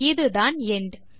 இதுதான் எண்ட்